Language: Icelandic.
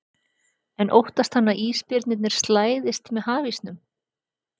En óttast hann að ísbirnir slæðist með hafísnum?